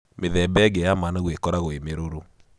Mĩthemba ĩngĩ ya managu ikoragwo ĩ mĩrũrũ.